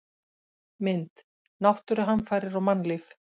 Mynd: Náttúruhamfarir og mannlíf